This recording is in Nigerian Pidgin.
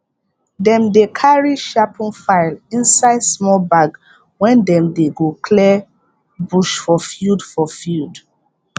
dem dey carry sharpen file inside small bag when dem dey go clear bush for field for field